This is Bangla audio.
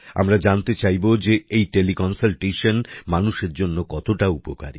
আমরা জানতে চাইবো যে এই টেলি কন্সালটেশন মানুষের জন্য কতটা উপকারী